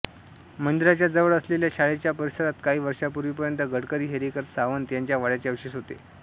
मंदिराच्या जवळ असलेल्या शाळेच्या परिसरात काही वर्षापुर्वीपर्यंत गडकरी हेरेकर सावंत यांच्या वाड्याचे अवशेष होते